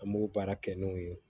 An b'o baara kɛ n'o ye